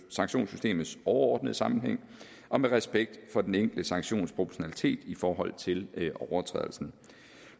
sanktionssystemets overordnede sammenhæng og med respekt for den enkelte sanktions proportionalitet i forhold til overtrædelsen